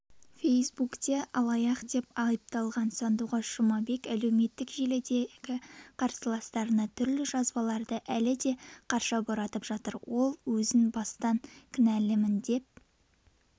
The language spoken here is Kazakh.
фейсбукте алаяқ деп айыпталған сандуғаш жұмабек әлеуметтік желідегі қарсыластарына түрлі жазбаларды әлі де қарша боратып жатыр ол өзін бастан кінәлімін деп